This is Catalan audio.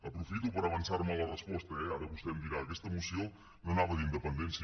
aprofito per avançar me a la resposta eh ara vostè em dirà aquesta moció no anava d’independència